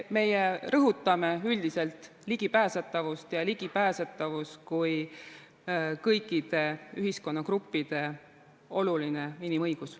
Me rõhutame üldiselt ligipääsetavust ja ligipääsetavust kui kõikide ühiskonnagruppide olulist inimõigust.